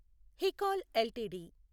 Hikal LTD